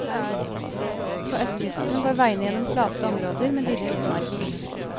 På østkysten går veiene gjennom flate områder med dyrket mark.